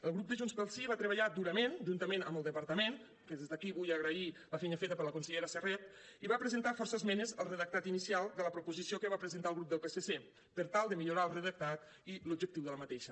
el grup de junts pel sí va treballar durament juntament amb el departament que des d’aquí vull agrair la feina feta per la consellera serret i va presentar força esmenes al redactat inicial de la proposició que va presentar el grup del psc per tal de millorar el redactat i l’objectiu d’aquesta